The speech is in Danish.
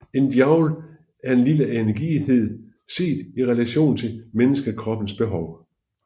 En joule er en lille energienhed set i relation til menneskekroppens behov